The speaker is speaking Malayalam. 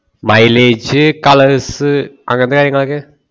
milage colours അങ്ങനത്തെ കാര്യങ്ങൾ ഒക്കെ